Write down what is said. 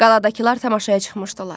Qaladakılar tamaşaya çıxmışdılar.